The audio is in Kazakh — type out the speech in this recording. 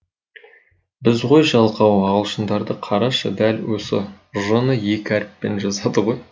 біз ғой жалқау ағылшындарды қарашы дәл осы ж ны екі әріппен жазады ғой